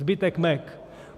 Zbytek Mac.